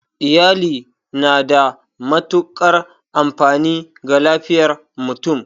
Iyali na da matuƙar amfani ga lafiyar mutum